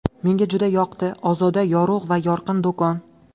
Menga juda yoqdi - ozoda, yorug‘ va yorqin do‘kon.